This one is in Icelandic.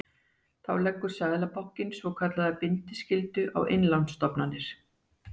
Þá leggur Seðlabankinn svokallaða bindiskyldu á innlánsstofnanir.